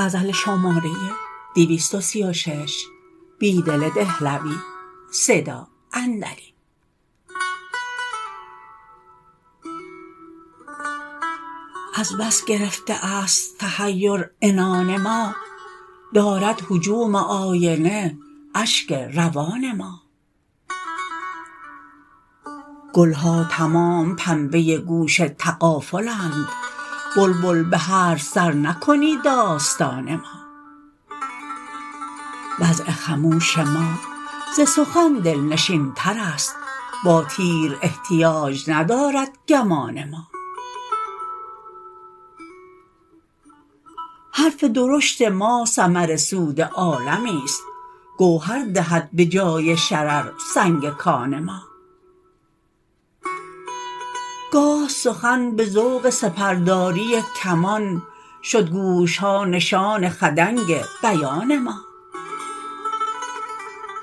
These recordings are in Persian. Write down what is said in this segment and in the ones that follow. از بس گرفته است تحیر عنان ما دارد هجوم آینه اشک روان ما گلها تمام پنبه گوش تغافلند بلبل به هرز سر نکنی داستان ما وضع خموش ما ز سخن دلنشین تر است با تیر احتیاج ندارد گمان ما حرف درشت ما ثمر سود عالمی ست گوهر دهد به جای شرر سنگ کان ما گاه سخن به ذوق سپرداری کمان شد گوش ها نشان خدنگ بیان ما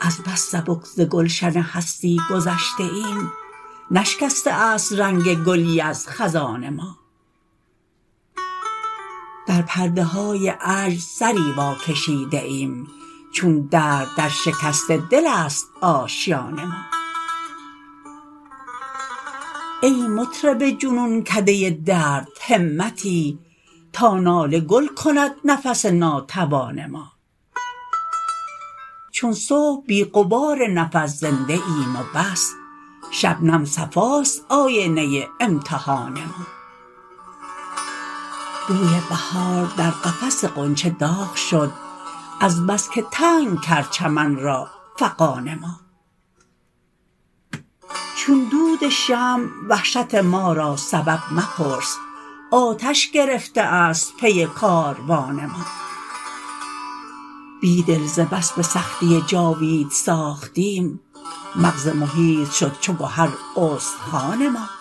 از بس سبک ز گلشن هستی گذشته ایم نشکسته است رنگ گلی از خزان ما در پرده های عجز سری واکشیده ایم چون درد در شکست دل است آشیان ما ای مطرب جنونکد ه درد همتی تا ناله گل کند نفس ناتوان ما چون صبح بی غبار نفس زنده ایم و بس شبنم صفاست آینه امتحان ما بوی بهار در قفس غنچه دا غ شد از بس که تنگ کرد چمن را فغان ما چون دود شمع وحشت ما را سبب مپرس آتش گرفته است پی کاروان ما بیدل ز بس به سختی جاوید ساختیم مغز محیط شد چو گهر استخوان ما